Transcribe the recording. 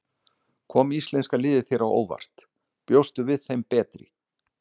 Kom íslenska liðið þér á óvart, bjóstu við þeim betri?